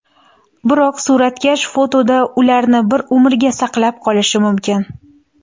Biroq suratkash fotoda ularni bir umrga saqlab qolishi mumkin.